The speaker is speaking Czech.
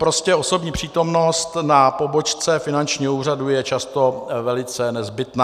Prostě osobní přítomnost na pobočce finančního úřadu je často velice nezbytná.